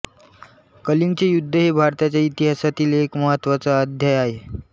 कलिंगचे युद्ध हे भारताच्या इतिहासातील एक महत्त्वाचा अध्याय आहे